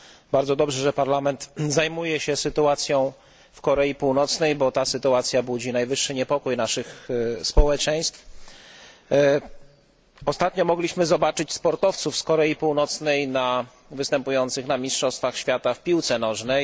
Bardzo dobrze, że Parlament zajmuje się sytuacją w Korei Północnej, gdyż budzi ona najwyższy niepokój naszych społeczeństw. Ostatnio mogliśmy zobaczyć sportowców z Korei Północnej występujących na mistrzostwach świata w piłce nożnej.